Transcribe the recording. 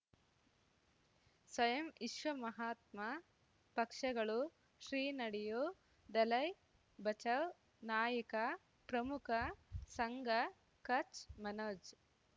ಸ್ವಯಂ ವಿಶ್ವ ಮಹಾತ್ಮ ಪಕ್ಷಗಳು ಶ್ರೀ ನಡೆಯೂ ದಲೈ ಬಚೌ ನಾಯಕ ಪ್ರಮುಖ ಸಂಘ ಕಚ್ ಮನೋಜ್